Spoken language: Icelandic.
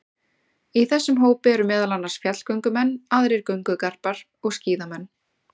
Í þessum hópi eru meðal annars fjallgöngumenn, aðrir göngugarpar og skíðamenn.